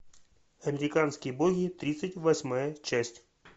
американские боги тридцать восьмая часть